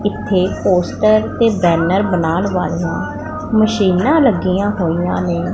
ਇੱਥੇ ਪੋਸਟਰ ਤੇ ਬੈਨਰ ਬਣਾਉਣ ਵਾਲੀਆਂ ਮਸ਼ੀਨਾਂ ਲੱਗੀਆਂ ਹੋਈਆਂ ਨੇ।